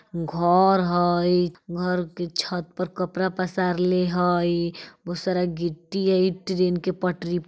घर हई घर के छत पर कपरा पसारले हई बहुत सारा गिट्टी हई ट्रैन के पटरी --